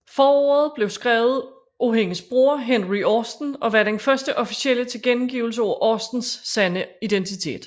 Forordet blev skrevet af hendes bror Henry Austen og var den første officielle tilkendegivelse af Austens sande identitet